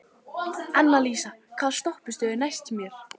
Annalísa, hvaða stoppistöð er næst mér?